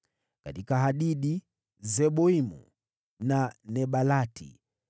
katika Hadidi, Seboimu na Nebalati,